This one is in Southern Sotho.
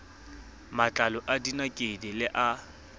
matlalo a dinakedi le a